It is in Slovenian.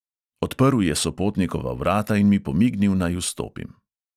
Odprl je sopotnikova vrata in mi pomignil, naj vstopim.